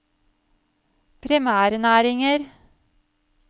primærnæringer